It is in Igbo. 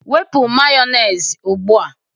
Wepu Mayonezi a ugbu a